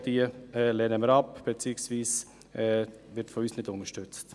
Auch diese lehnen wir ab, beziehungsweise sie werden von uns nicht unterstützt.